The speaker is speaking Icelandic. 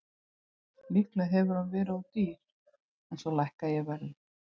Líklega hefur hann verið of dýr en svo lækkaði ég verðið.